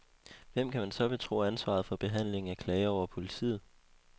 Hvem kan man så betro ansvaret for behandlingen af klager over politiet?